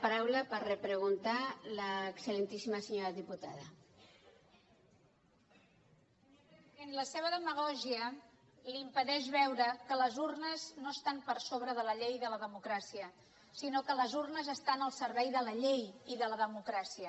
senyor president la seva demagògia li impedeix veure que les urnes no estan per sobre de la llei i de la democràcia sinó que les urnes estan al servei de la llei i de la democràcia